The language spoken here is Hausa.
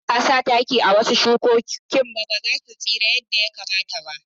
Idan ba a sa taki a wasu shukoki ba, ba za su tsira yadda ya kamata ba.